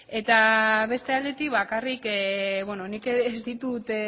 eta beste aldetik bakarrik beno nik ez ditut